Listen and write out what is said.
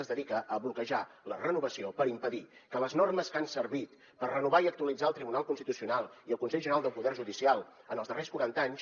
es dedica a bloquejar ne la renovació per impedir que les normes que han servit per renovar i actualitzar el tribunal constitucional i el consell general del poder judicial en els darrers quaranta anys